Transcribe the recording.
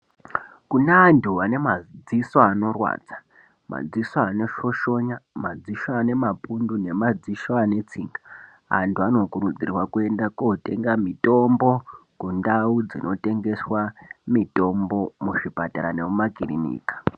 Kune antu anemadziso anorwadza. Madziso anoshoshonya, madziso anemapundu nemadzisho anetsinga. Antu anokurudzirwa kuyenda kotenga mitombo, kundau dzinotengeswa mitombo, muzvipatara nemumakirinika.